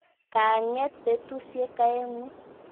Ka ng'et petusyek aeng'u.